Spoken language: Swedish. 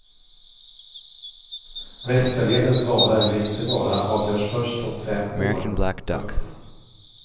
Västerledens vara eller inte vara avgörs först om fem år. punkt